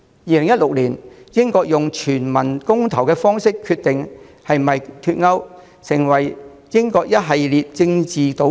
2016年，英國用全民公投方式決定是否脫歐，開始了英國一系列政治賭局。